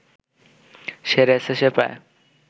সেরে এসেছে প্রায়